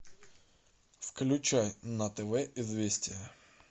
включай на тв известия